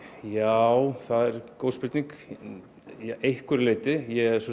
já það er góð spurning að einhverju leyti